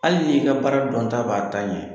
Hali n'i ka baara dɔnta b'a ta ɲɛ.